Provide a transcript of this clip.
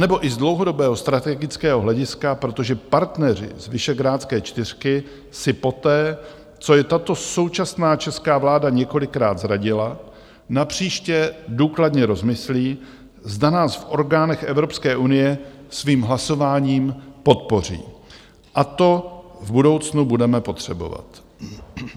Anebo i z dlouhodobého strategického hlediska, protože partneři z Visegrádské čtyřky si poté, co je tato současná česká vláda několikrát zradila, napříště důkladně rozmyslí, zda nás v orgánech Evropské unie svým hlasováním podpoří, a to v budoucnu budeme potřebovat.